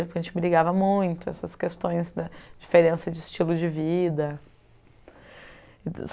A gente brigava muito, essas questões da diferença de estilo de vida e dos